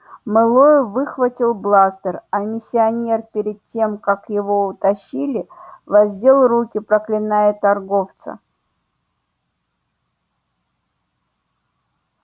мэллоу выхватил бластер а миссионер перед тем как его утащили воздел руки проклиная торговца